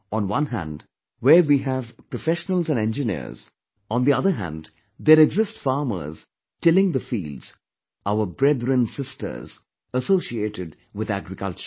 On one hand, where we have professionals and engineers, on the other hand, there exist farmers tilling the fields, our brethrensisters associated with agriculture